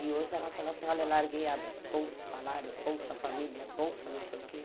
E hoje ela fala assim, olha, larguei a bolsa salário, bolsa família, bolsa não sei o quê.